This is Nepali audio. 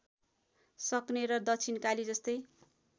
सक्ने र दक्षिणकाली जस्तै